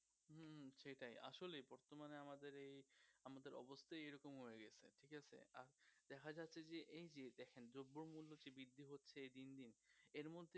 এর মধ্যে